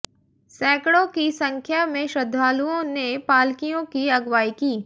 सैकड़ों की संख्या में श्रद्धालुओं ने पालकियों की अगवाई की